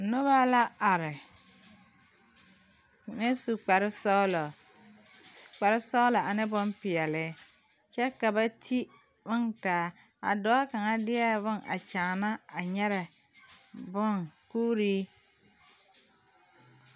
Nobɔ la are mine su kparesɔglɔ kparesɔglɔ ane bonpeɛle kyɛ ka ba ti bontaa dɔɔ kaŋa deɛ a nyɛrɛ kuuree.